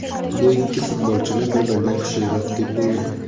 Bu ikki futbolchini bir-biridan kuchliroq deb bo‘lmaydi.